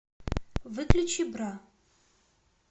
выключи бра